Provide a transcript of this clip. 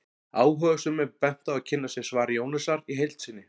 Áhugasömum er bent á að kynna sér svar Jónasar í heild sinni.